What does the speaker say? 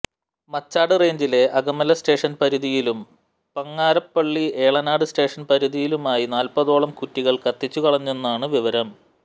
മച്ചാട് റേഞ്ചിലെ അകമല സ്റ്റേഷൻ പരിധിയിലും പങ്ങാരപ്പിള്ളി എളനാട് സ്റ്റേഷൻ പരിധിയിലുമായി നാൽപതോളം കുറ്റികൾ കത്തിച്ചു കളഞ്ഞെന്നാണു വിവരം